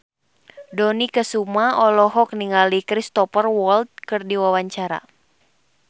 Dony Kesuma olohok ningali Cristhoper Waltz keur diwawancara